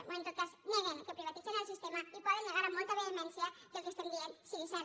o en tot cas neguen que privatitzen el sistema i poden negar amb molta vehemència que el que estem dient sigui cert